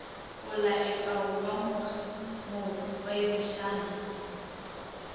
go laletšwa go ba mogwebišani